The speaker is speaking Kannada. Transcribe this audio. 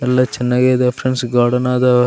ಎಲ್ಲ ಚೆನ್ನಾಗಿದೆ ಫ್ರೆಂಡ್ಸ್ ಗಾರ್ಡನ್ ಆದ.